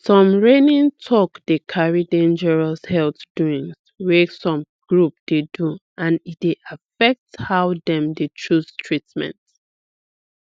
some reigning talk dey carry dangerous health doings wey some group dey do and e dey affect how dem dey choose treatment